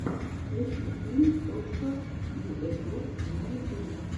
включи филм точка йуэй групп на ютубе